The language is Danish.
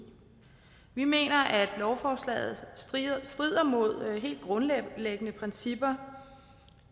vi mener at lovforslaget strider mod helt grundlæggende principper